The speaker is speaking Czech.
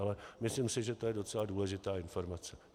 Ale myslím si, že to je docela důležitá informace.